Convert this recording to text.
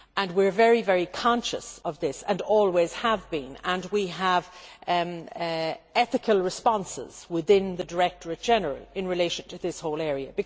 We are very conscious of this and always have been, and we have ethical responses within the directorate general in relation to this whole area.